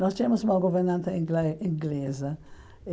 Nós tínhamos uma governanta ingle inglesa.